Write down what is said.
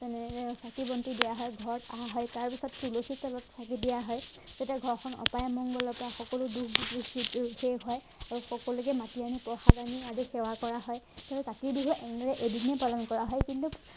তেনেদৰে চাকি বন্তি দিয়া হয় ঘৰত অহা হয় তাৰপাছত তুলসীৰ তলত চাকি দিয়া হয় তেতিয়া ঘৰখন অপায় অমংগলৰ পৰা সকলো দুখ দুখ শেষ হয় আৰু সকলোকে মাতি আনি প্ৰসাদ আনি আদি সেৱা কৰা হয় সেয়ে কাতি বিহু এনেদৰে এদিনেই পালন কৰা হয় কিন্তু